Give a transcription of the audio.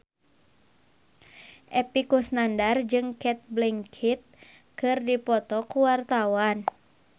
Epy Kusnandar jeung Cate Blanchett keur dipoto ku wartawan